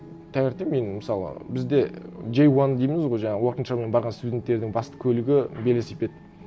таңертең мен мысалы бізде джей уан дейміз ғой жаңағы уорк энд шолумен барған студенттердің басты көлігі велосипед